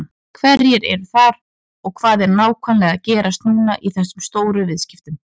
Hverjir eru þar og hvað er nákvæmlega að gerast núna í þessum stóru viðskiptum?